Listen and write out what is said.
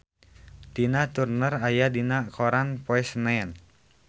Tina Turner aya dina koran poe Senen